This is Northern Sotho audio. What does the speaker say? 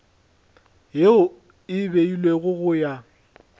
yeo e beilwego go ya